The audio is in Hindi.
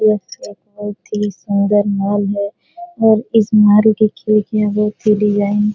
यह एक बहुत ही सुंदर माल है और इस मारु के खेत में हमें बहुत ही डिजाइन --